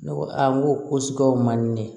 Ne ko aa n ko sigaw man di ne ye